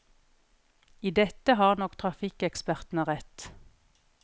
I dette har nok trafikkekspertene rett.